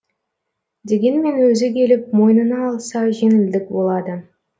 дегенмен өзі келіп мойнына алса жеңілдік болады